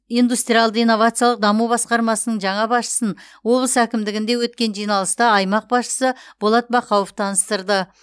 индустриалды инновациялық даму басқармасының жаңа басшысын облыс әкімдігінде өткен жиналыста аймақ басшысы болат бақауов таныстырды